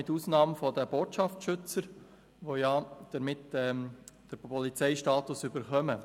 Eine Ausnahme stellen die Botschaftsschützer dar, welche den Polizeistatus erhalten.